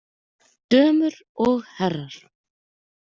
Dömur og herrar!